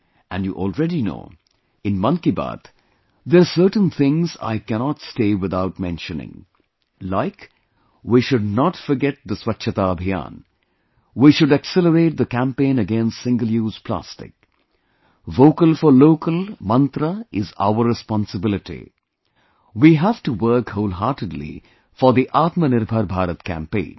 And you already know, in 'Mann Ki Baat', there are certain things, I cannot stay without mentioning... like, we should not forget the'Swachhta Abhiyan' ; we should accelerate the campaign against single use plastic; Vocal for Local mantra is our responsibility, we have to work wholeheartedly for the Atma Nirbhar Bharat campaign